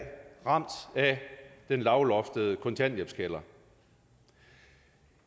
ramt af den lavloftede kontanthjælpskælder